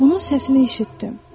Onun səsini eşitdim.